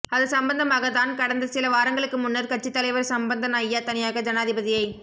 அது சம்பந்தமாகத் தான் கடந்த சில வாரங்களுக்கு முன்னர் கட்சித் தலைவர் சம்பந்தன் ஐயா தனியாக ஜனாதிபதியைச்